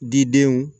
Didenw